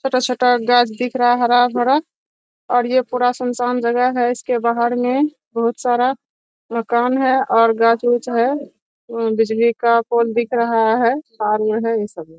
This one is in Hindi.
छोटा-छोटा गाछ दिख रहा है हरा-भरा और ये पूरा सुनसान जग़ह है। इसके बाहर में बहुत सारा मकान है और गाछ उछ है। बिजली का पोल दिख रहा है। फार्म है यही सब है।